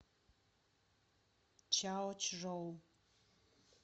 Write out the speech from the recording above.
чаочжоу